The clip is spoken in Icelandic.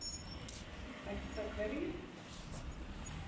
Hætta hverju?